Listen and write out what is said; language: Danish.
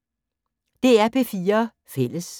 DR P4 Fælles